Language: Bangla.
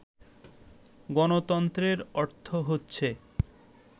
গণতন্ত্রের অর্থ হচ্ছে